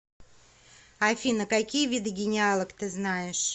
афина какие виды генеалог ты знаешь